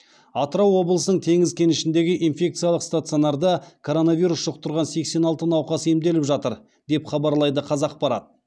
атырау облысының теңіз кенішіндегі инфекциялық стационарда коронавирус жұқтырған сексен алты науқас емделіп жатыр деп хабарлайды қазақпарат